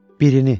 Birini.